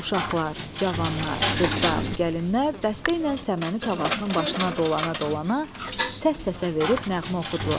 Uşaqlar, cavanlar, qızlar, gəlinlər dəstəylə səməni tavasının başına dolana-dolana səs-səsə verib nəğmə oxudular.